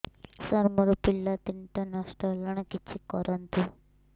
ସାର ମୋର ପିଲା ତିନିଟା ନଷ୍ଟ ହେଲାଣି କିଛି କରନ୍ତୁ